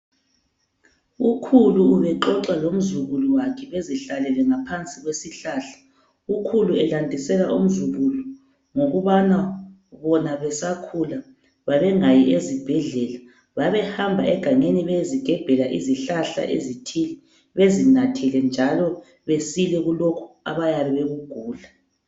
Ukhulu ubexoxa lomzukulu wakhe bezihlalele ngaphansi kwesihlahla. Ukhulu ubelandisela umzukulu ngokubana bona besakhula babengayi ezibhedlela, babehamba egangeni beyezigebhela izihlahla ezithile bezinathele njalo besile kulokhu abayabe bekugula.